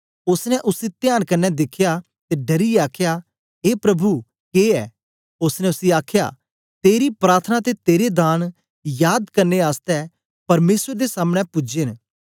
ओसने उसी त्यान कन्ने दिखया ते डरियै आखया ए प्रभु के ऐ ओसने उसी आखया तेरी प्रार्थना ते तेरे दान याद करने आसतै परमेसर दे सामने पूजे न